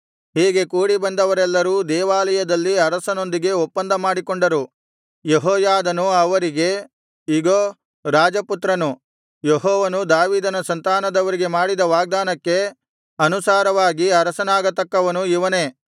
ಹೀಗೆ ಕೂಡಿ ಬಂದವರೆಲ್ಲರೂ ದೇವಾಲಯದಲ್ಲಿ ಅರಸನೊಂದಿಗೆ ಒಪ್ಪಂದ ಮಾಡಿಕೊಂಡರು ಯೆಹೋಯಾದನು ಅವರಿಗೆ ಇಗೋ ರಾಜಪುತ್ರನು ಯೆಹೋವನು ದಾವೀದನ ಸಂತಾನದವರಿಗೆ ಮಾಡಿದ ವಾಗ್ದಾನಕ್ಕೆ ಅನುಸಾರವಾಗಿ ಅರಸನಾಗತಕ್ಕವನು ಇವನೇ